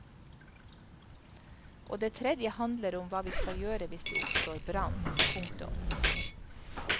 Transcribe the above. Og det tredje handler om hva vi skal gjøre hvis det oppstår brann. punktum